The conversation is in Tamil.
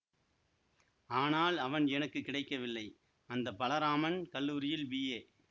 ஆனால் அவன் எனக்கு கிடைக்கவில்லை அந்த பலராமன் கல்லூரியில் பிஏ